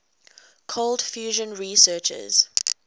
cold fusion researchers